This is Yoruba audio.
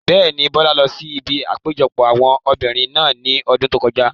Bẹ́ẹ̀ni, Bọ́lá lọ sí ibi àpéjọpọ̀ àwọn obìrin náà ní ọdún tó kọjá